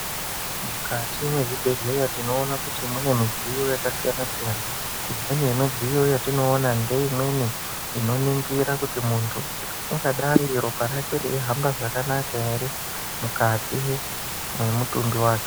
Mukati mezvibhedhleya tinoona kuti mune midziyo yakasiyana siyana imweni yemidziyo yetinoona ngeimweni inoningira kuti muntu ungadai ropa rake reihamba zvakanaka ere mukati memutumbi wake.